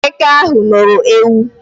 Eke ahụ loro ewu